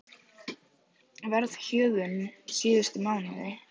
Verðhjöðnun síðustu mánuði